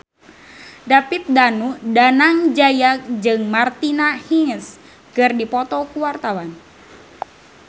David Danu Danangjaya jeung Martina Hingis keur dipoto ku wartawan